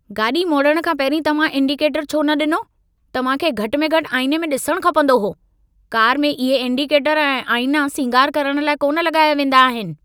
गाॾी मोड़ण खां पहिरीं तव्हां इंडिकेटरु छो न ॾिनो? तव्हां खे घटि में घटि आईने में ॾिसणु खपंदो हो। कार में इहे इंडिकेटर ऐं आईंना सींगार करण लाइ कोन लॻाया वेंदा आहिन।